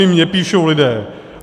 I mně píšou lidé.